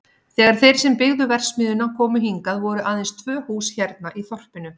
Þegar þeir sem byggðu verksmiðjuna komu hingað voru aðeins tvö hús hérna í þorpinu.